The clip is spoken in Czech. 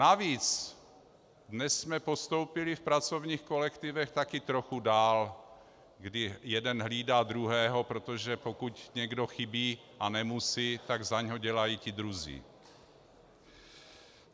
Navíc dnes jsme postoupili v pracovních kolektivech taky trochu dál, kdy jeden hlídá druhého, protože pokud někdo chybí a nemusí, tak za něj dělají ti druzí.